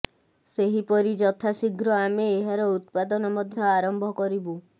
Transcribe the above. ସେହିପରି ଯଥାଶୀଘ୍ର ଆମେ ଏହାର ଉତ୍ପାଦନ ମଧ୍ୟ ଆରମ୍ଭ କରିବୁ